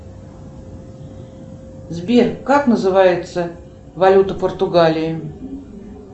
сбер как называется валюта португалии